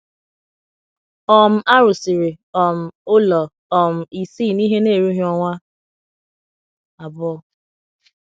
um A rụsịrị um ụlọ um isii n’ihe na - erughị ọnwa abụọ.